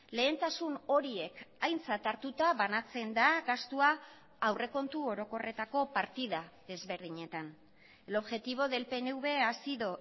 lehentasun horiek aintzat hartuta banatzen da gastua aurrekontu orokorretako partida desberdinetan el objetivo del pnv ha sido